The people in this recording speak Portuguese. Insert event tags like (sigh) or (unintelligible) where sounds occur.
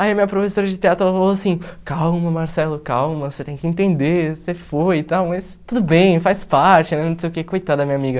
Aí a minha professora de teatro ela falou assim, calma Marcelo, calma, você tem que entender, você foi e tal, mas tudo bem, faz parte, (unintelligible) não sei o que, coitada da minha amiga.